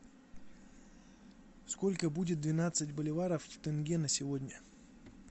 сколько будет двенадцать боливаров в тенге на сегодня